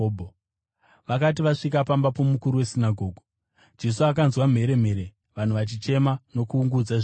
Vakati vasvika pamba pomukuru wesinagoge, Jesu akanzwa mheremhere, vanhu vachichema nokuungudza zvikuru.